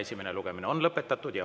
Esimene lugemine on lõpetatud.